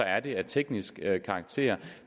at det er af teknisk karakter